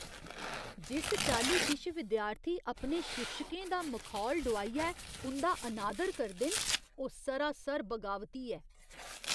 जिस चाल्ली किश विद्यार्थी अपने शिक्षकें दा मखौल डुआइयै उं'दा अनादर करदे न, ओह् सरासर बगावती ऐ।